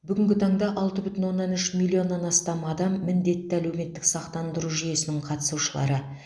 бүгінгі таңда алты бүтін оннан үш миллионнан астам адам міндетті әлеуметтік сақтандыру жүйесінің қатысушылары